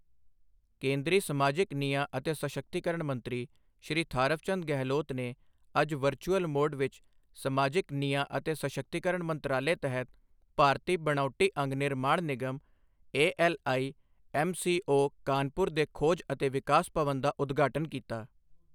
ਕੇਂਦਰੀ ਸਮਾਜਿਕ ਨਿਆਂ ਅਤੇ ਸਸ਼ਕਤੀਕਰਨ ਮੰਤਰੀ ਸ਼੍ਰੀ ਥਾਵਰਚੰਦ ਗਹਿਲੋਤ ਨੇ ਅੱਜ ਵਰਚੁਅਲ ਮੋਡ ਵਿੱਚ ਸਮਾਜਿਕ ਨਿਆਂ ਅਤੇ ਸਸ਼ਕਤੀਕਰਨ ਮੰਤਰਾਲੇ ਤਹਿਤ ਭਾਰਤੀ ਬਣਾਉਟੀ ਅੰਗ ਨਿਰਮਾਣ ਨਿਗਮ ਏਐੱਲਆਈਐੱਮਸੀਓ, ਕਾਨਪੁਰ ਦੇ ਖੋਜ ਅਤੇ ਵਿਕਾਸ ਭਵਨ ਦਾ ਉਦਘਾਟਨ ਕੀਤਾ।